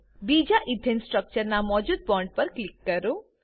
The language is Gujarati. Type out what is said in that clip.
બીજા ઈથેન સ્ટ્રક્ચર ના મોજુદ બોન્ડ પર ક્લિક કરો